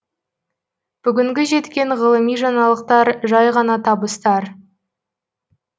бүгінгі жеткен ғылыми жаңалықтар жай ғана табыстар